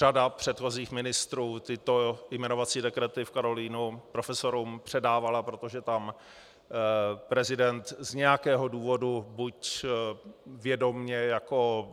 Řada předchozích ministrů tyto jmenovací dekrety v Karolinu profesorům předávala, protože tam prezident z nějakého důvodu, buď vědomě jako